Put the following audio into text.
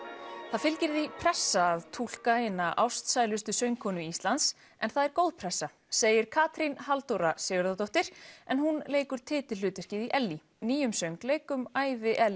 það fylgir því pressa að túlka eina ástsælustu söngkonu Íslands en það er góð pressa segir Katrín Halldóra Sigurðardóttir en hún leikur titilhlutverkið í Ellý nýjum söngleik um ævi